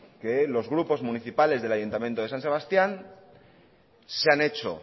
que los grupos municipales del ayuntamiento de san sebastián se han hecho